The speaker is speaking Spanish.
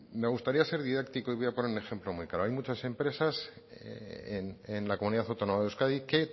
me gustaría ser didáctico y voy a poner un ejemplo muy claro hay muchas empresas en la comunidad autónoma de euskadi que